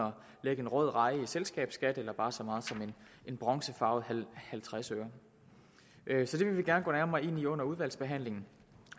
lægge en rød reje i selskabsskat eller bare så meget som en bronzefarvet halvtredsøre så det vil vi gerne gå nærmere ind i under udvalgsbehandlingen